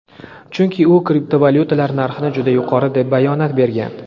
Chunki u kriptovalyutalar narxini juda yuqori deb bayonot bergan.